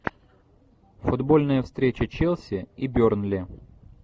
футбольная встреча челси и бернли